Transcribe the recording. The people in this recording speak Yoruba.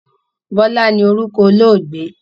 Bọlá ni orúkọ olóògbé